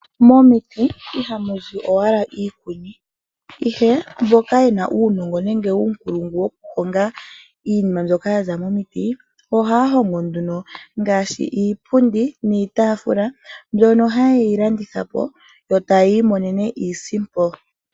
Momiti ohamu zi owala iikuni ihe mboka yena uunongo nenge uunkulungu wokuhonga iinima mbyoka yaza momiti ohaya hongo nduno ngaashi iipundi niitafula mbyoka hayi landithwapo yo taya imonene iisimpo.